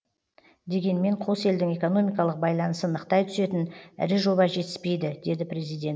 дегенмен қос елдің экономикалық байланысын нықтай түсетін ірі жоба жетіспейді деді президент